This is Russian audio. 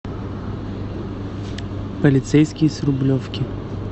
полицейский с рублевки